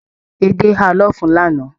Edé háà lọfun lana.